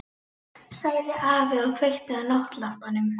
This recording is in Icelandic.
sagði afi og kveikti á náttlampanum.